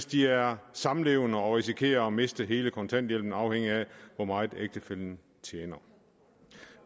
de er samlevende og risikerer at miste hele kontanthjælpen afhængigt af hvor meget ægtefællen tjener